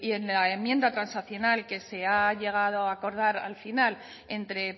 en la enmienda transaccional que se ha llegado a acordar al final entre